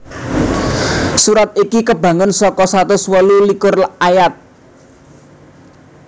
Surat iki kabangun saka satus wolu likur ayat